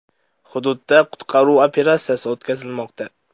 Hududda qutqaruv operatsiyasi o‘tkazilmoqda.